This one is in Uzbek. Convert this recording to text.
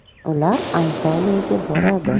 Ular Antaliyaga boradi.